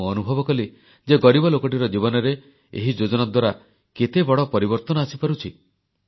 ମୁଁ ଅନୁଭବ କଲି ଯେ ଗରିବ ଲୋକଟିର ଜୀବନରେ ଏହି ଯୋଜନା ଦ୍ୱାରା କେତେବଡ଼ ପରିବର୍ତ୍ତନ ଆସିପାରୁଛି